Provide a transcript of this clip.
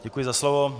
Děkuji za slovo.